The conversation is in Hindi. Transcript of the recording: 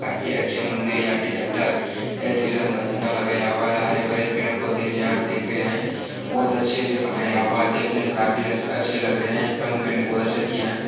काफी अच्छी मंदिर यहाँ पे झंडा जय श्री राम का झंडा लगाया हुआ है | हरे भरे पेड़ पौधे भी है आप देख रहे है बहुत अच्छे से बनाया हुआ है देखने में काफी अ अच्छे लग रहे है पेंट भी बहुत अच्छे से किया है।